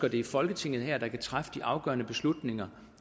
at det er folketinget her der kan træffe de afgørende beslutninger